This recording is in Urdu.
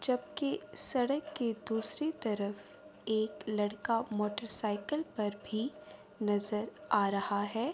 جبکی سڈک کے دوسری طرف ایک لڑکا موٹر سائیکل پر بھی نظر آ رہا ہے۔